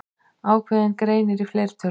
Ákveðinn greinir í fleirtölu.